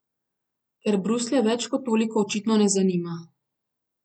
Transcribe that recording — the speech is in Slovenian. Ker Bruslja več kot toliko očitno ne zanima.